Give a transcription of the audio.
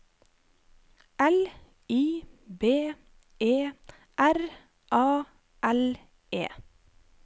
L I B E R A L E